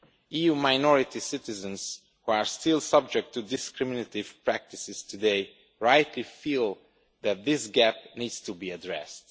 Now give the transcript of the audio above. EU minority citizens who are still subject to discriminatory practices today rightly feel that this gap needs to be addressed.